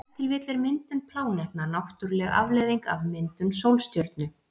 Ef til vill er myndun plánetna náttúruleg afleiðing af myndun sólstjörnu.